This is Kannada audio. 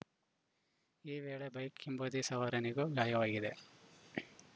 ಈ ವೇಳೆ ಬೈಕ್‌ ಹಿಂಬದಿ ಸವಾರನಿಗೂ ಗಾಯವಾಗಿದೆ